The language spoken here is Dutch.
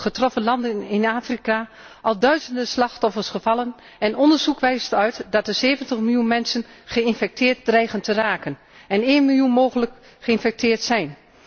getroffen landen in Afrika al duizenden slachtoffers gevallen en onderzoek wijst uit dat er 70 miljoen mensen geïnfecteerd dreigen te raken en één miljoen mogelijk geïnfecteerd zijn.